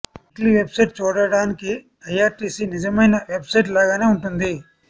నకిలీ వెబ్సైట్ చూడటానికి ఐఆర్సిటిసి నిజమైన వెబ్సైట్ లాగానే ఉంటుంది